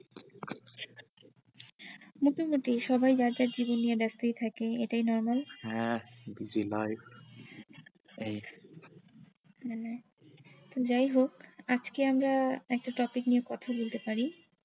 নতুন আর কি সবাই যার যার জিনিস নিয়ে ব্যাস্তই থাকে এটাই normal হ্যাঁ বুঝলাই এই মানে যাই হোক আজকে আমরা একটা topic নিয়ে কথা বলতে পারি।